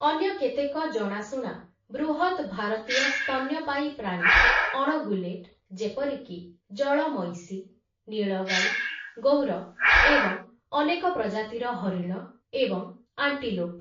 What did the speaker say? ଅନ୍ୟ କେତେକ ଜଣାଶୁଣା ବୃହତ୍‌ ଭାରତୀୟ ସ୍ତନ୍ୟପାୟୀ ପ୍ରାଣୀ ଅଣଗୁଲେଟ୍, ଯେପରିକି ଜଳ ମଇଁଷି, ନୀଳଗାଈ, ଗୌର ଏବଂ ଅନେକ ପ୍ରଜାତିର ହରିଣ ଏବଂ ଆଣ୍ଟିଲୋପ୍ ।